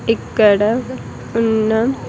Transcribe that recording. ఇక్కడ ఉన్న--